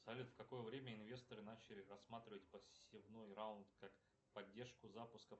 салют в какое время инвесторы начали рассматривать посевной раунд как поддержку запуска